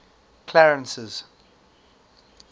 clarence's